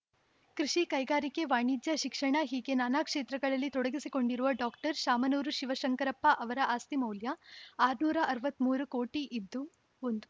ಕೃಷಿ ಕೈಗಾರಿಕೆ ವಾಣಿಜ್ಯ ಶಿಕ್ಷಣ ಹೀಗೆ ನಾನಾ ಕ್ಷೇತ್ರಗಳಲ್ಲಿ ತೊಡಗಿಸಿಕೊಂಡಿರುವ ಡಾಕ್ಟರ್ ಶಾಮನೂರು ಶಿವಶಂಕರಪ್ಪ ಅವರ ಆಸ್ತಿ ಮೌಲ್ಯ ಆರುನೂರ ಅರವತ್ತ್ ಮೂರು ಕೋಟಿ ಇದ್ದು ಒಂದು